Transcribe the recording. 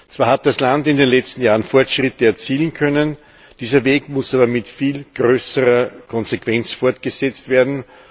Zwar hat das Land in den letzten Jahren Fortschritte erzielen können, dieser Weg muss aber mit viel größerer Konsequenz fortgesetzt werden.